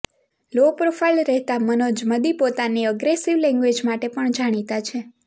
લો profile રહેતા મનોજ મદી પોતાની અગ્રેસિવ લેંગ્વેજ માટે પણ જાણીતા છે